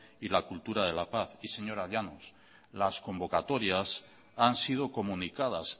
y la cultura de la paz y señora llanos las convocatorias han sido comunicadas